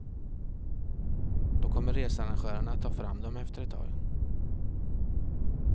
Då kommer researrangörerna att ta fram dem efter ett tag.